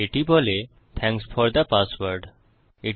এটি বলে thanks for the password আপনার পাসওয়ার্ডের জন্য ধন্যবাদ